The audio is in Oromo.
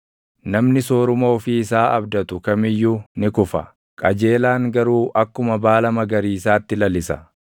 Namni sooruma ofii isaa abdatu kam iyyuu ni kufa; qajeelaan garuu akkuma baala magariisaatti lalisa.